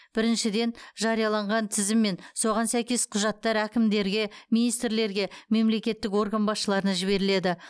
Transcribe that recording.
біріншіден жарияланған тізім мен соған сәйкес құжаттар әкімдерге министрлерге мемлекеттік орган басшыларына жіберіледі